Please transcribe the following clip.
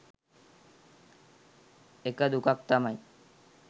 එක දුකක් තමයි